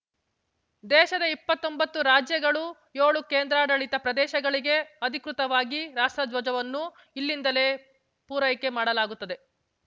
ದೇಶದ ಇಪ್ಪತ್ತೊಂಬತ್ತು ರಾಜ್ಯಗಳು ಯೋಳು ಕೇಂದ್ರಾಡಳಿತ ಪ್ರದೇಶಗಳಿಗೆ ಅಧಿಕೃತವಾಗಿ ರಾಷ್ಟ್ರಧ್ವಜವನ್ನು ಇಲ್ಲಿಂದಲೇ ಪೂರೈಕೆ ಮಾಡಲಾಗುತ್ತದೆ